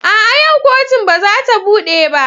A'a! yau kotun ba za ta bude ba.